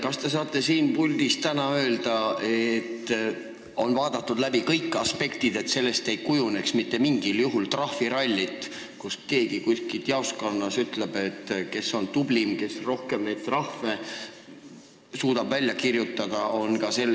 Kas te saate siit puldist täna öelda, et on arutatud läbi kõik aspektid, et sellest ei kujuneks mitte mingil juhul trahviralli, nii et keegi kuskil jaoskonnas annab teada, kes on kõige tublim, sest suudab kõige rohkem neid trahve välja kirjutada?